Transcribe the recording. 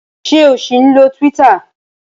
Ṣé o ṣì ń lo Twitter?